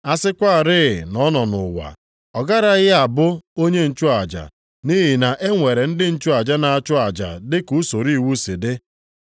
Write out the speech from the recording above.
A sịkwarị na ọ nọ nʼụwa, o garaghị a bụ onye nchụaja nʼihi na e nwere ndị nchụaja na-achụ aja dị ka usoro iwu si dị.